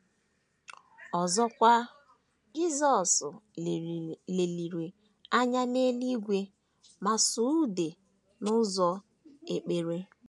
Ọzọkwa, Jisọs leliri anya n’eluigwe ma sụọ ude n’ụzọ ekpere.